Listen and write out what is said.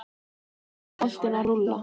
Þannig fór boltinn að rúlla.